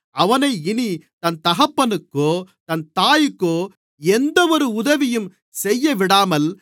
அவனை இனி தன் தகப்பனுக்கோ தன் தாய்க்கோ எந்தவொரு உதவியும் செய்யவிடாமல்